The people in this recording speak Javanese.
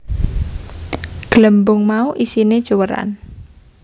Glembung mau isiné cuwèran